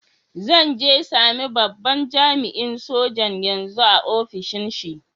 Zan je same babban jami'in sojan yanzu a'ofishin shi.